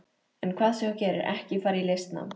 En hvað sem þú gerir, ekki fara í listnám.